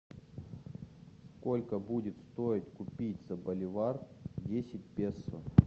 сколько будет стоить купить за боливар десять песо